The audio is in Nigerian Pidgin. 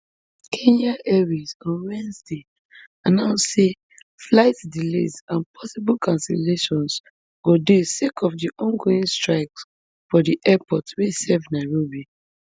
kenya airways on wednesday announce say flight delays and possible cancellations go dey sake of di ongoing strike for di airport wey dey serve nairobi